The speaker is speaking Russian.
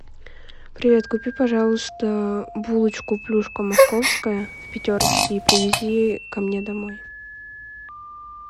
привет купи пожалуйста булочку плюшка московская в пятерочке и привези ко мне домой